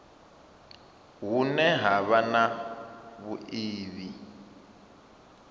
hune ha vha na vhuiivhi